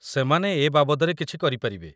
ସେମାନେ ଏ ବାବଦରେ କିଛି କରିପାରିବେ ।